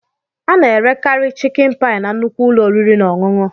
Ana-erekarị chịkin paị na nnukwu ụlọ oriri na ọṅụṅụ.